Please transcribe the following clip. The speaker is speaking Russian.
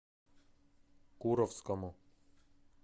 куровскому